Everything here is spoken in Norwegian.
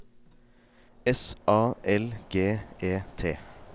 S A L G E T